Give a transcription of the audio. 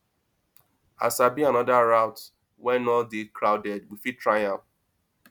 i sabi another route wey no dey crowded we fit try am